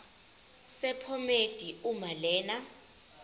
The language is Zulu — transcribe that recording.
sephomedi uma lena